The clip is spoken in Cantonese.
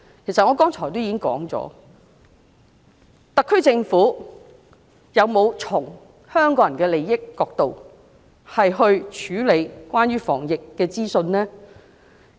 其實，我剛才已經提到，特區政府有否從香港人利益的角度，處理關於防疫的資訊呢？